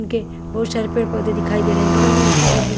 के बहुत सारे पेड़-पौधे दिखाई दे रहे हैं बगल में ऊंची बिल्डिंग --